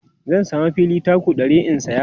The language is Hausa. zan samu fili taku 100 in saya